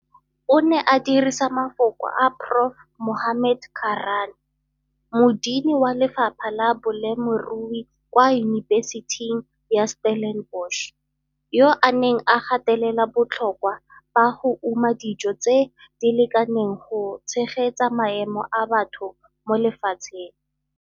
O ne a dirisa mafoko a Prof Mohammad Karaan, modini wa lefapha la bolemirui kwa unibeseting ya Stellenbosch yo a neng a gatelela botlhokwa ba go uma dijo tse di lekaneng go tshegetsa maemo a batho mo lefatsheng.